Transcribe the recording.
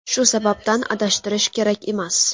Shu sababdan adashtirish kerak emas.